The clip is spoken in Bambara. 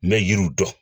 N bɛ yiriw dɔn